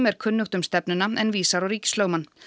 er kunnugt um stefnuna en vísar á ríkislögmann